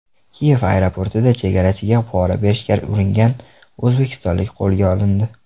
Kiyev aeroportida chegarachiga pora berishga uringan o‘zbekistonlik qo‘lga olindi.